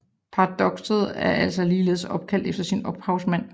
Paradokset er altså ligeledes opkaldt efter sin ophavsmand